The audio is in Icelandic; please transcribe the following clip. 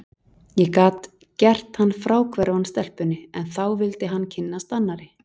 Ég gat gert hann fráhverfan stelpunni, en þá vildi hann kynnast annarri.